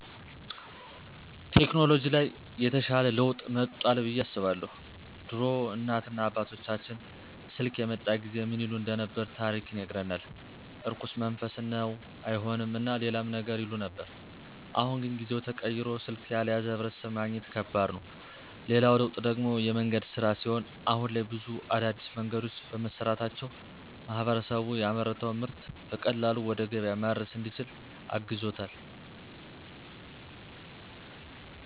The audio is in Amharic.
ቴከኖሎጅ ላይ የተሻለ ለውጥ መጦአል ብዬ አስባለሁ። ድሮ እናት እና አባቶቻችን ስልክ የመጣ ጊዜ ምን ይሉ እንደነበር ታሪክ ይነግረናል። እርኩስ መንፈስ ነው አይሆንም እና ሌላም ነገር ይሉ ነበር። አሁን ግን ጊዜው ተቀይሮ ስልክ ያልያዘ ሕብረተሰብ ማግኘት ከባድ ነው። ሌላው ለውጥ ደግሞ የመንገድ ሥራ ሲሆን አሁን ላይ ብዙ አዳዲስ መንገዶች በመሰራታቸው ማህበረሰቡ ያመረተውን ምርጥ በቀላሉ ወደ ገበያ ማድረስ እንዲችል አግዞታል።